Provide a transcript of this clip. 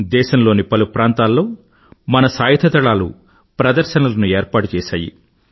దేశంలోని పలు ప్రాంతాల్లో మన సాయుధదళాలు ప్రదర్శనలను ఏర్పాటుచేసాయి